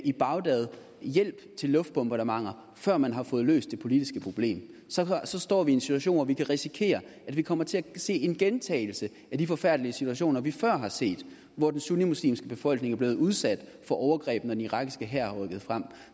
i bagdad hjælp til luftbombardementer før man har fået løst det politiske problem så står vi i en situation hvor vi kan risikere at vi kommer til at se en gentagelse af de forfærdelige situationer vi før har set hvor den sunnimuslimske befolkning er blevet udsat for overgreb når den irakiske hær har rykket frem